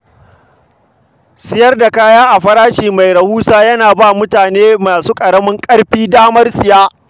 Siyar da kaya a farashi mai rahusa yana ba mutane masu ƙaramin ƙarfi damar siye.